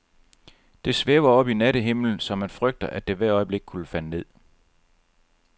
Det svæver oppe i nattehimlen, så man frygter, at det hvert øjeblik kunne falde ned.